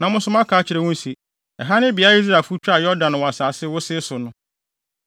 Na mo nso moaka akyerɛ wɔn se, ‘Ɛha ne beae a Israelfo twaa Yordan wɔ asase wosee so no.’